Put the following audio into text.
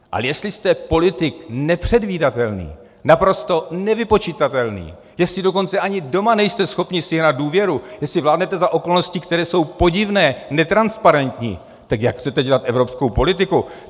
Ale jestli jste politik nepředvídatelný, naprosto nevypočitatelný, jestli dokonce ani doma nejste schopni sjednat důvěru, jestli vládnete za okolností, které jsou podivné, netransparentní, tak jak chcete dělat evropskou politiku?